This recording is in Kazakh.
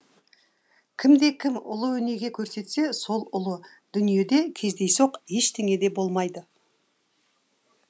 кімде кім ұлы өнеге көрсетсе сол ұлы дүниеде кездейсоқ ештеңе де болмайды